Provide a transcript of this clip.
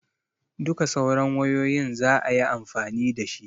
Duka sauran wayoyin zaayi amfani dashi